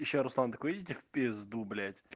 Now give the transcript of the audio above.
ещё руслан такой идите в пизду блять